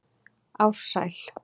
Ársæl